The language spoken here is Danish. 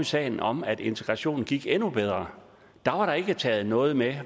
sagen om at integrationen gik endnu bedre taget noget med